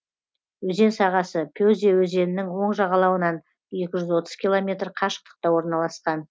өзен сағасы пеза өзенінің оң жағалауынан екі жүз отыз километр қашықтықта орналасқан